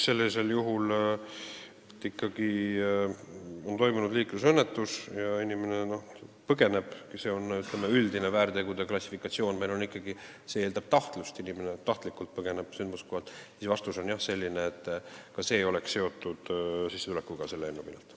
Kui ikkagi on toimunud liiklusõnnetus ja inimene põgeneb, siis üldise väärtegude klassifikatsiooni alusel eeldab see tahtlust, kui inimene on tahtlikult sündmuskohalt põgenenud, siis vastus on selline, et ka sel juhul oleks trahv selle eelnõu järgi seotud sissetulekuga.